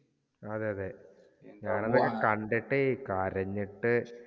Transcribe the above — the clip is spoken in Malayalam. അതേയതെ. ഞാനെന്തായാലും കണ്ടിട്ടേ കരഞ്ഞിട്ടു